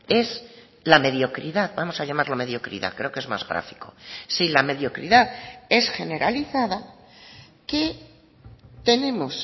es la mediocridad vamos a llamarlo mediocridad creo que es más gráfico si la mediocridad es generalizada que tenemos